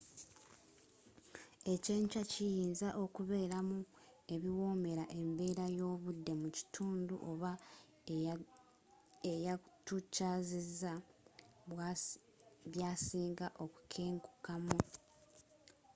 ekyenkya kiyinza okubeeramu ebiwoomera embeera y'obudde mu kitundu oba eyatukyazizza byasinga okukenkukamu